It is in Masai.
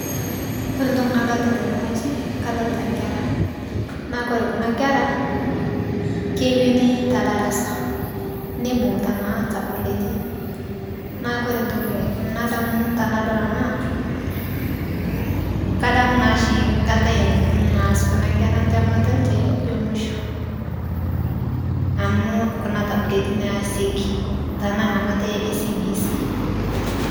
Koree entoki nadolita tene wueji kadolita nkera. naa kore Kuna kera keuni te darasa. nibungita naa tabuletu. neeku ore entoki. nadamu tenadol ena. kadamu naa oshi enkata naas Kuna kera ntemata enche emusho. amu Kuna tabuleti naa neesieki Kuna temat e cbc